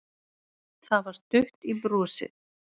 Það var stutt í brosið.